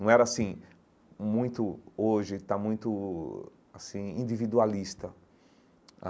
Não era assim, muito hoje, está muito assim, individualista.